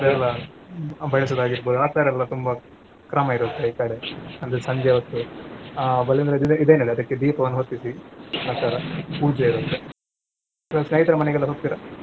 ಬಳಸೊದಾಗಿರ್ಬೋದು ಆ ತರಾ ಎಲ್ಲಾ ತುಂಬಾ ಕ್ರಮ ಇರುತ್ತೆ ಈ ಕಡೆ ಅಂದ್ರೆ ಸಂಜೆ ಹೊತ್ತು ಆ ಬಲೀಂದ್ರ ಇದೆ~ ಇದೇನೆಲ್ಲದಕ್ಕೆ ದೀಪವನ್ನ ಹೊತ್ತಿಸಿ ಆತರ ಪೂಜೆ ಇರುತ್ತೆ. ಸ್ನೇಹಿತರ ಮನೆಗೆಲ್ಲ ಹೋಗ್ತೀರಾ?